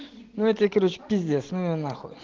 ну это короче пиздец ну его на хуй